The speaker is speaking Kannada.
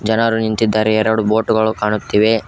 ಜನರು ನಿಂತಿದ್ದಾರೆ ಎರಡು ಬೋಟ್ ಗಳು ಕಾಣುತ್ತಿವೆ.